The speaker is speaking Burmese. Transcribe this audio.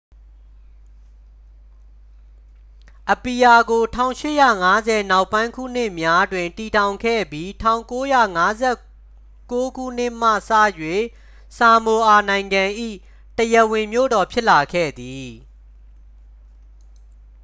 အပီယာကို 1850 နောက်ပိုင်းခုနှစ်များတွင် တည်ထောင်ခဲ့ပြီး 1959 ခုနှစ်မှစ၍ ဆာမိုအာနိုင်ငံ၏ တရားဝင်မြို့တော် ဖြစ်လာခဲ့သည်